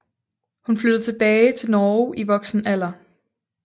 Hun flyttede tilbage til Norge i voksen alder